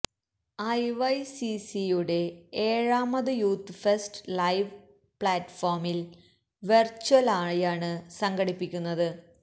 I Y C C യുടെ ഏഴാമത് youth fest live പ്ലാറ്റ്ഫോമിൽ വേർച്വലായാണ് സംഘടിപ്പിക്കുന്നത്